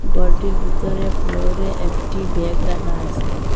গরটির বিতরে ফ্লোরে একটি ব্যাগ রাখা আছে।